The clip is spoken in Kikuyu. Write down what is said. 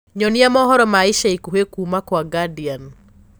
nyonĩa mohoro ma ĩca ĩkũhĩ kũma kwa guardian